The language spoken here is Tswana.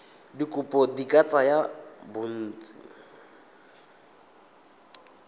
dikopo di ka tsaya bontsi